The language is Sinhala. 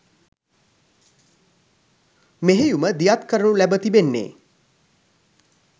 මෙහෙයුම දියත් කරනු ලැබ තිබෙන්නේ